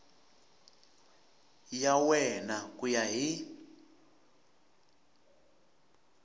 ya wena ku ya hi